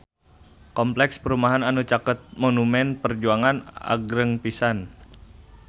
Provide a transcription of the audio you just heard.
Kompleks perumahan anu caket Monumen Perjuangan agreng pisan